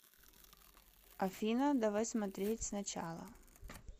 афина давай смотреть сначала